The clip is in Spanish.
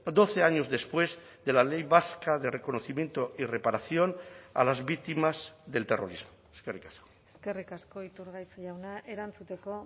doce años después de la ley vasca de reconocimiento y reparación a las víctimas del terrorismo eskerrik asko eskerrik asko iturgaiz jauna erantzuteko